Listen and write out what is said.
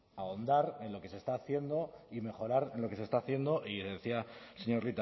ahondar en lo que se está haciendo y mejorar en lo que se está haciendo y decía el señor